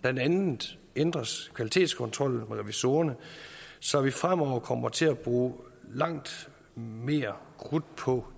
blandt andet ændres kvalitetskontrollen med revisorerne så vi fremover kommer til at bruge langt mere krudt på